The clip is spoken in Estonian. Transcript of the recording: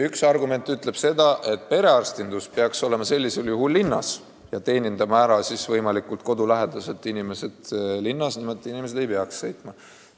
Üks argument ütleb, et perearstid peaks olema linnas ja teenindama inimesi võimalikult nende kodu lähedal ja niimoodi, et nad ei peaks sõitma.